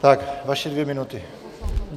Tak, vaše dvě minuty.